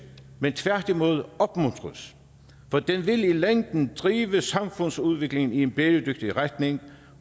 men tværtimod opmuntres for den vil i længden drive samfundsudviklingen i en bæredygtig retning